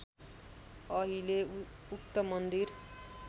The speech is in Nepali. अहिले उक्त मन्दिर